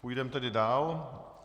Půjdeme tedy dál.